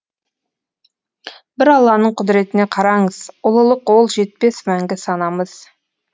бір алланың құдіретіне қараңыз ұлылық ол жетпес мәңгі санамыз